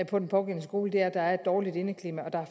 på den pågældende skole er at der et dårligt indeklima og at der er